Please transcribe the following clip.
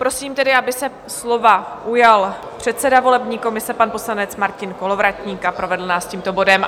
Prosím tedy, aby se slova ujal předseda volební komise pan poslanec Martin Kolovratník a provedl nás tímto bodem.